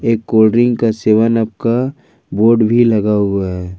एक cold drink का सेवन आप का बोर्ड भी लगा हुआ है।